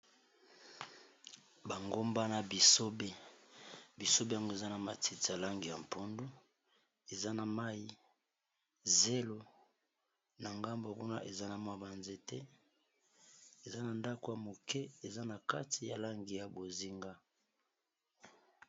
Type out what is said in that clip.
Ba ngomba na bisobe. Bisobe yango eza na matiti ya langi ya mpundu eza na mai zelo na ngambo kuna eza na mwa banzete eza na ndako ya moke eza na kati ya langi ya bozinga.